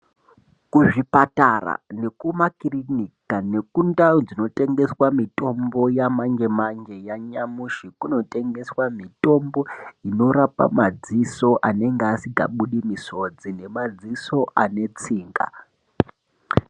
Kuzvipatara nekumakirinika nekundau dzinotengeswa mitombo yamanje manje, yanyamushi kunotengeswa mitombo inorape madziso anenge asingabudisi misodzi nemadziso ane tsinga.